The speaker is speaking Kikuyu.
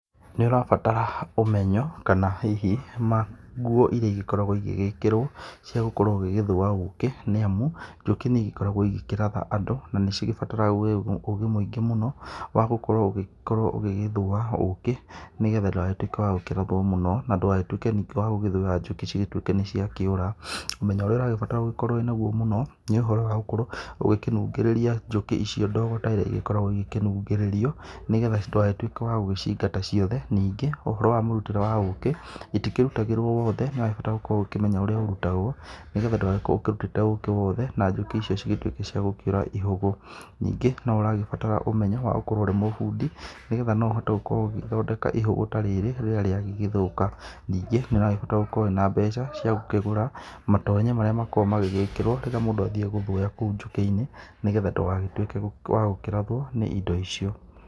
Nĩ ũrabatara ũmenyo kana hihi ngũo irĩa ĩgĩkoragwo igĩgĩkĩrwo cia gũkorwo ugĩgĩthũa ũkĩ, nĩ amũ njũkĩ nĩ igĩkoragwo igĩkĩratha andũ na nĩ cigĩbataraga ũgĩ mũingĩ mũno wa gũkorwo ũgĩgĩthũa ũkĩ, nĩgetha ndũgagĩtũĩke wa gũkĩrathwo mũno na ndũgagĩtũĩke ningĩ wa gugĩthũya njũkĩ cigatũĩke nĩ ciakĩũra. Ũmenyo ũrĩa ũragĩbatara gũgĩkorwo wĩ nagũo mũno, nĩ ũhoro wa gũkorwo ũgĩkĩnũngĩrĩria njukĩ icio ndogo ta ĩria ĩgĩkoragwo ĩgĩkĩnungĩrĩrio, nĩgetha ndũgagĩtũĩke wa gũgĩcĩingata ciothe. Ningĩ ũhoro wa mũrutĩre wa ũkĩ itikĩrũtagĩrwo wothe nĩ urabatara gũkorwo ũkĩmenya ũrĩa ũkĩrũtagwo, nĩgetha ndũgagĩkorwo ũrũtĩte ũkĩ wothe na njũkĩ icio cigĩtũĩke cia gũkĩura ihũgũ. Ningĩ no ũragĩbatara ũmenyo wa gũkorwo ũrĩ bũndi, nĩgetha no ũhote gũkorwo ũgĩthondeka ihũgũ ta rĩrĩ rĩrĩa rĩa gĩgĩthũka nĩngĩ nĩ ũragĩbatara gũkorwo wĩ na mbeca cia gũkĩgũra matonyo maria magĩkoragwo magigĩikĩrwo rĩrĩa mũndũ athiĩ gũthũya kũu njũki-inĩ, nĩgetha ndũgagĩtũike wa gũkĩrathwo nĩ indo icio.